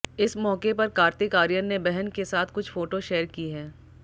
इस मौके पर कार्तिक आर्यन ने बहन के साथ कुछ फोटो शेयर की है